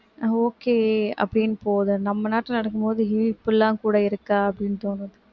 okay அப்படின்னு போது நம்ம நாட்டுல நடக்கும் போது ஏன் இப்படிலாம் கூட இருக்கா அப்படின்னு தோணுது